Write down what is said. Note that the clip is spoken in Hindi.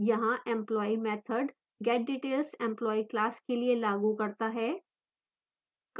यहाँ employee method getdetails employee class के लिए लागू करता है